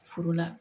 Furu la